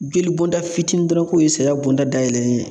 Jeli bonda fitini dɔrɔn k'o ye saya bɔnda dayɛlɛ ye.